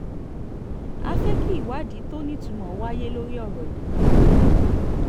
a fẹ́ kí ìwádìí tó nítumọ̀ wáyé lórí ọ̀rọ̀ yìí